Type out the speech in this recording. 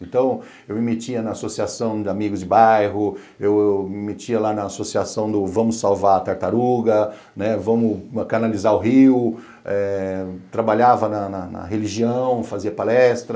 Então, eu me metia na associação de amigos de bairro, eu me metia lá na associação do Vamos Salvar a Tartaruga, né, Vamos Canalizar o Rio, eh trabalhava na religião, fazia palestra.